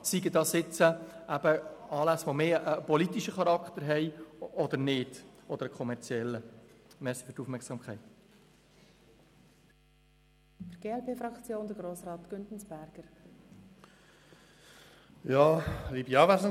Dies kann sowohl Anlässe mit einem eher politischen Charakter als auch solche mit einem kommerziellen Charakter betreffen.